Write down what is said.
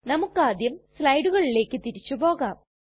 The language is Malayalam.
നമുക്കാദ്യം സ്ലയ്ടുകളിലെക് തിരിച്ചു പോകാം